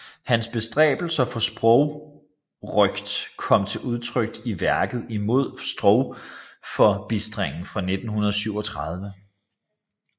Hans bestræbelser for sprogrøgt kom til udtryk i værket Imod sprogforbistringen fra 1937